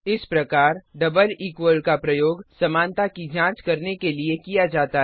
इस प्रकार double equal का प्रयोग समानता की जांच करने के लिए किया जाता है